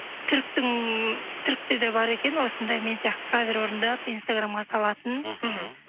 түріктің түрікте де бар екен осындай мен сияқты кавер орындап инстаграмға салатын мхм